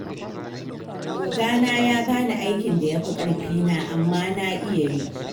Ogana ya ba ni aikin da ya fi ƙarfina, amma na iya yi.